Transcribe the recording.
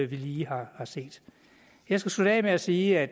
vi lige har har set jeg skal slutte af med at sige at